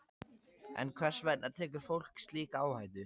En hvers vegna tekur fólk slíka áhættu?